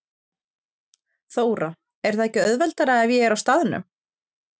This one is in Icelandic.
Þóra: Er það ekki auðveldara ef ég er á staðnum?